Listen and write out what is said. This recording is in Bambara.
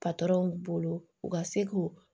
patɔrɔnw bolo u ka se k'o